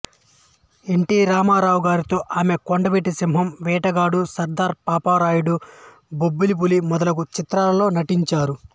ఎన్ T Ramarao గారితో ఆమె కొండవీటి సింహం వేటగాడు సర్దార్ పాపారాయుడు బొబ్బిలిపులి మొదలగు చిత్రాలలో నటించారు